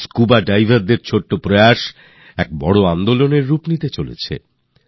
এই scuba divers দের ছোট একটা সূত্রপাত একটা বড় বড় অভিযানের রূপ নিতে যাচ্ছে